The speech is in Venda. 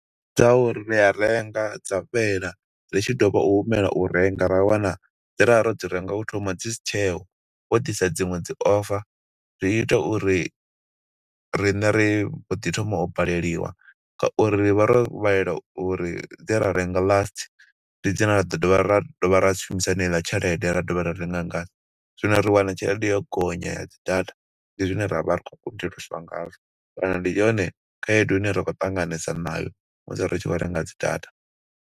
Ndi dza uri ri a renga dza fhela, ri tshi ḓovha u humela u renga ra wana dze ra vha ro dzi renga u thoma dzi si tsheho, vho ḓisa dziṅwe dzi offer. Zwi ita uri riṋe ri mboḓi thoma u baleliwa, nga uri rivha ro balelwa uri dze ra renga last. Ndi dzine ra ḓo dovha ra dovha ra shumisa haneiḽa tshelede ra dovha ra renga nga dzo. Zwino ri wana tshelede yo gonya ya dzi data. Ndi zwine ra vha ri khou kundeliswa ngazwo, kana ndi yone khaedu ine ra khou ṱanganesa nayo musi ri tshi khou renga dzi data.